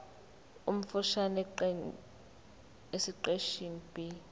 omfushane esiqeshini b